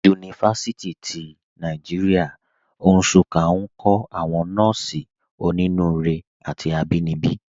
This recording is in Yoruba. Yunifasiti ti Nàìjíríà, Nsụ́ká, nkọ̀ àwọn nọ́ọ̀sí ọ̀nínúurè àti àbínibí.